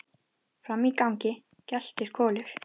Frammi í gangi geltir Kolur.